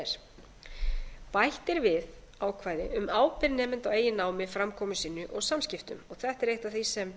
er bætt er við ákvæði um ábyrgð nemenda á eigin námi framkomu sinni og samskiptum og þetta er eitt af því sem